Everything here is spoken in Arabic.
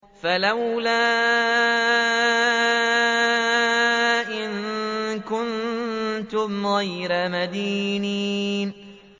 فَلَوْلَا إِن كُنتُمْ غَيْرَ مَدِينِينَ